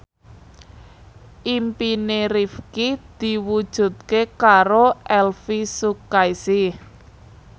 impine Rifqi diwujudke karo Elvy Sukaesih